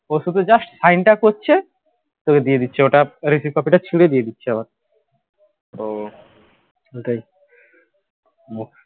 ও শুধু just sign টা করছে তোকে দিয়ে দিচ্ছে ওটা receipt copy টা ছিঁড়ে দিয়ে দিচ্ছে আবার তো ওটাই মুহ